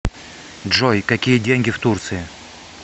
джой какие деньги в турции